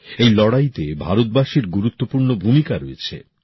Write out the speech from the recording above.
এই লড়াইতে ভারতবাসীর গুরুত্বপূর্ণ ভূমিকা রয়েছে